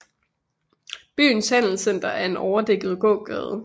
Byens handelscenter er en overdækket gågade